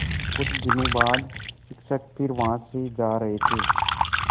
कुछ दिनों बाद शिक्षक फिर वहाँ से जा रहे थे